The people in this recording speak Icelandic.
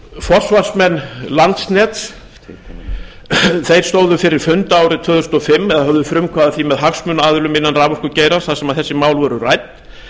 forsvarsmenn landsneti stóðu fyrir fundi árið tvö þúsund og fimm eða höfðu frumkvæði að því með hagsmunaaðilum innan raforkugeirans þar sem þessi mál voru rædd